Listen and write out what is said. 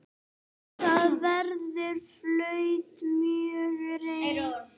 Þar verða flutt fjögur erindi.